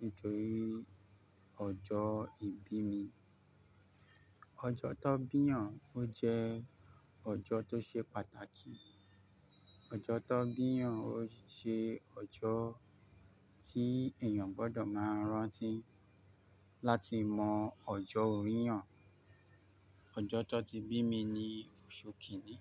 nítorí ọjọ ìbí mi. Ọjọ tó bi yan, o jẹ ọjọ tó ṣe pàtàkì. Ọjọ tó bi'yan, o ṣe ọjọ tí èèyàn gbọdọ ma rántí, láti mọ ọjọ ori'yan. Ọjọ tó ti bi mi ni oṣu kini.